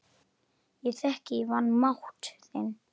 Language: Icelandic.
Ég þekki vanmátt þinn.